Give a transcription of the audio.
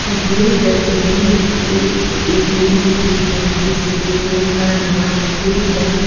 ये तस्वीर एक ए_टी_एम की है जिस ए_टी_एम का नाम स्टेट बैंक --